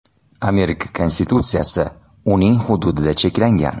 Amerika Konstitutsiyasi uning hududida cheklangan.